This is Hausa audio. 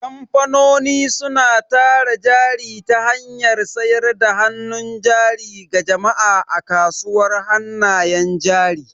Kamfanoni suna tara jari ta hanyar sayar da hannun jari ga jama'a a kasuwar hannayen jari.